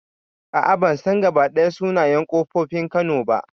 A'a ban san gabaɗaya sunayen ƙofofin kano ba